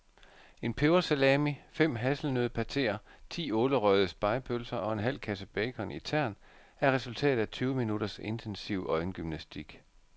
En pebersalami, fem hasselnøddepateer, ti ålerøgede spegepølser og en halv kasse bacon i tern er resultatet af tyve minutters intensiv øjengymnastik.